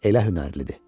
Elə hünərlidir.